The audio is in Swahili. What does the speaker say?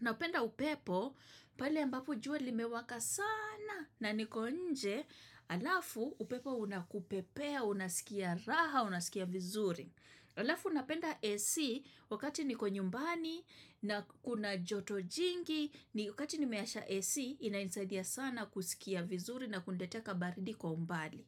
Napenda upepo, pale ambapo jua limewaka sana na niko nje, alafu upepo unakupepea, unasikia raha, unasikia vizuri. Alafu napenda AC, wakati niko nyumbani na kuna joto jingi, wakati nimeasha AC, inanisaidia sana kusikia vizuri na kuniletea kabaridi kwa umbali.